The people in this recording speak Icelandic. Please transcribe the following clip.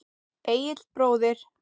Egill bróðir.